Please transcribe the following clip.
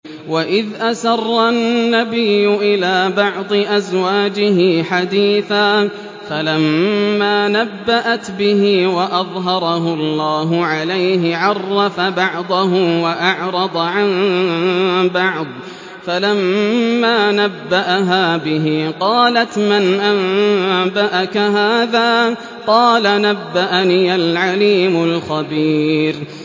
وَإِذْ أَسَرَّ النَّبِيُّ إِلَىٰ بَعْضِ أَزْوَاجِهِ حَدِيثًا فَلَمَّا نَبَّأَتْ بِهِ وَأَظْهَرَهُ اللَّهُ عَلَيْهِ عَرَّفَ بَعْضَهُ وَأَعْرَضَ عَن بَعْضٍ ۖ فَلَمَّا نَبَّأَهَا بِهِ قَالَتْ مَنْ أَنبَأَكَ هَٰذَا ۖ قَالَ نَبَّأَنِيَ الْعَلِيمُ الْخَبِيرُ